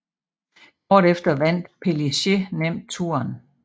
Kort efter vandt Pélissier nemt Touren